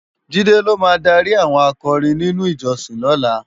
Jide ló má dári áwòn ákòrin ninú ijòsin òlá